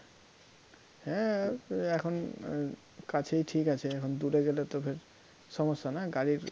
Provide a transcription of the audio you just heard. হ্যাঁ এখন কাছেই ঠিক আছে এখন দূরে গেলে তো ভে~ সমস্যা না গাড়ির